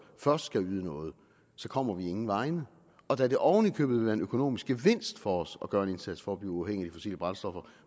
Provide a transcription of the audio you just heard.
først skal yde noget så kommer vi ingen vegne og da det oven i købet vil være en økonomisk gevinst for os at gøre en indsats for at blive uafhængige af fossile brændstoffer